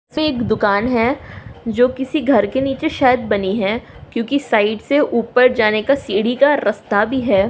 दुकान है जो किसी घर के निचे शायद बनी हैक्यूंकी साइड से ऊपर जाने का सीढ़ी का रस्ता भी है।